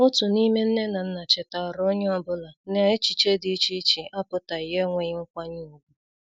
Otu n'ime nne na nna chetaara onye ọbụla na echichi dị iche iche apụtaghi enweghi nkwanye ùgwù.